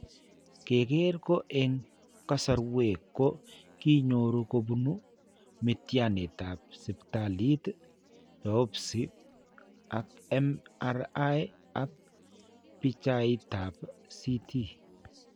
Keker ko eng' kasarwek ko kinyoru kobunu miitiyaaniitap siptaliit, biopsy ak MRI ak bichaaitap CT.